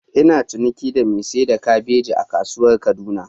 Ina ciniki da mai sayar da kabeji a kasuwar kaduna.